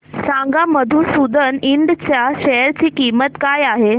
सांगा मधुसूदन इंड च्या शेअर ची किंमत काय आहे